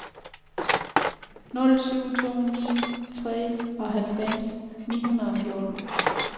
nul syv to ni treoghalvfjerds ni hundrede og fjorten